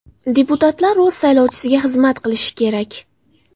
Deputatlar o‘z saylovchisiga xizmat qilishi kerak.